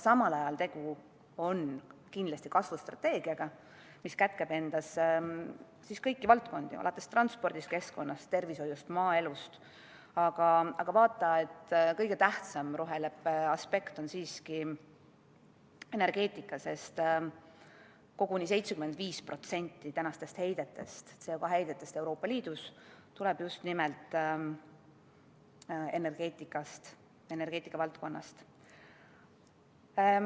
Samal ajal on tegu kindlasti kasvustrateegiaga, mis kätkeb endas kõiki valdkondi, alates transpordist, keskkonnast, tervishoiust ja maaelust, aga vaata et kõige tähtsam roheleppe aspekt on siiski energeetika, sest koguni 75% tänastest CO2 heidetest Euroopa Liidus tuleb just nimelt energeetika valdkonnast.